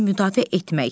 müdafiə etmək.